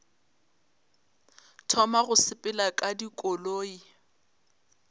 thoma go sepela ka dikoloi